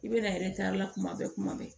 I bɛ na la kuma bɛɛ kuma bɛɛ